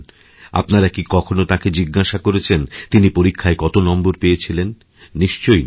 আপনারা কিকখনও তাঁকে জিজ্ঞাসা করেছেন তিনি পরীক্ষায় কত নম্বর পেয়েছিলেন নিশ্চয়ই নয়